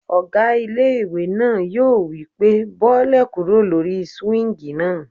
Ọgá ilé-ìwé náà yóò wí pé "bọ́lẹ̀ kúrò lórí súwíngì náà!"